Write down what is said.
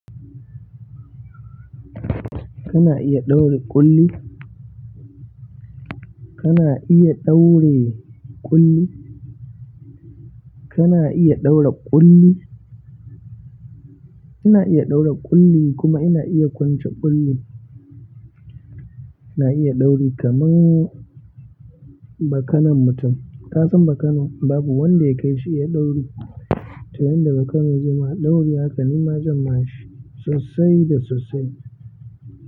Kana iya ɗaure ƙulli? Kana iya daure ƙulli? Kana iya ɗaure ƙulli? Ina iya daure ƙulli kuma ina iya kwance ƙulli. Na iya ɗauri kaman bakanon mutum. Kasan bakano babu wanda ya kai shi iya ɗauri, to yanda bakano zai maka ɗauri haka nima zan ma shi sosai da sosai.